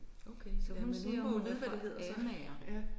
Okay jamen hun må jo vide hvad det hedder så ja